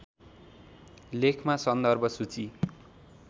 लेखमा सन्दर्भ सूची